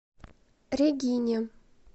регине